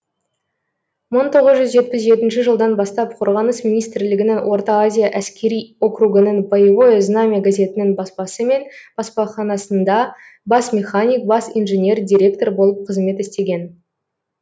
мың тоғыз жүз жетпіс жетінші жылдан бастап қорғаныс министрлігінің орта азия әскери округінің боевое знамя газетінің баспасы мен баспаханасында бас механик бас инженер директор болып қызмет істеген